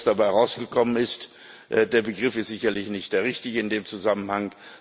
Was dabei rausgekommen ist der Begriff ist sicherlich nicht der richtige in dem Zusammenhang.